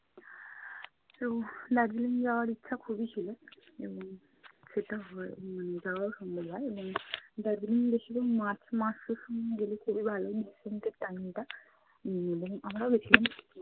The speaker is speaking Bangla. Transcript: তো দার্জিলিং যাওয়ার ইচ্ছা খুবই ছিল উম সেটা হয় উম যাওয়াও সম্ভব হয়। এবং দার্জিলিং বেশিরভাগ march মাসের সময় গেলে খুবই ভালো বসন্তের time ওটা। উম এবং আমরাও গেছিলাম।